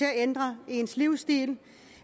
at ændre ens livsstil